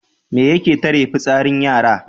Me yake tare fitsarin yara?